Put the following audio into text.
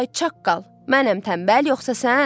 Ay çaqqal, mənəm tənbəl yoxsa sən?